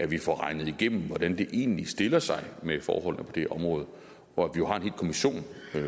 vi får regnet igennem hvordan det egentlig stiller sig med forholdene på det område hvor